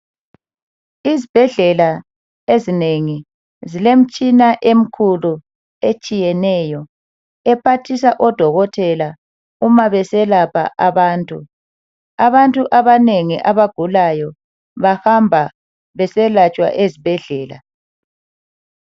Izibhedlela ezinengi zilemitshina emikhulu etshiyeneyo, ephathisa odokotela uma beselapha abantu. Abantu abanengi abagulayo bahamba beselatshwa ezibhedlela.